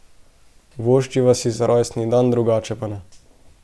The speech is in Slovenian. Voščiva si za rojstni dan, drugače pa ne.